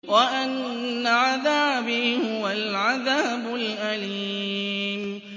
وَأَنَّ عَذَابِي هُوَ الْعَذَابُ الْأَلِيمُ